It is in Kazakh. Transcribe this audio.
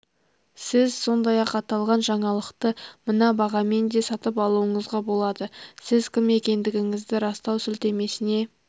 сіз сондай-ақ аталған жаңалықты мына бағамен де сатып алуыңызға болады сіз кім екендігіңізді растау сілтемесіне